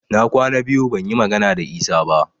Na kwana biyu ban yi magana da Isa ba